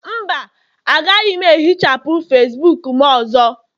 mba, agaghị m ehichapụ Facibuku m ọzọ